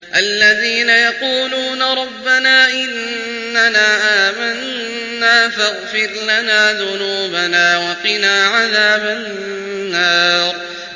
الَّذِينَ يَقُولُونَ رَبَّنَا إِنَّنَا آمَنَّا فَاغْفِرْ لَنَا ذُنُوبَنَا وَقِنَا عَذَابَ النَّارِ